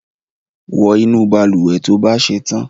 wọ inu balùwẹ̀ tó bà ṣetan!